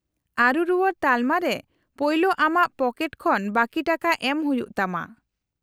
-ᱟᱹᱨᱩ ᱨᱩᱣᱟᱹᱲ ᱛᱟᱞᱢᱟ ᱨᱮ ᱯᱳᱭᱞᱳ ᱟᱢᱟᱜ ᱯᱚᱠᱮᱴ ᱠᱷᱚᱱ ᱵᱟᱹᱠᱤ ᱴᱟᱠᱟ ᱮᱢ ᱦᱩᱭᱩᱜ ᱛᱟᱢᱟ ᱾